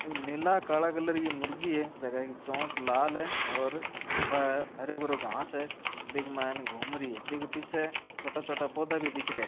नीला काला कलर कि मुर्गी है जके की चोंच लाल है और हारो भरो घास है बीके के मायने घूम री है बीके पीछे छोटे-छोटे पौधा भी दिखरा है।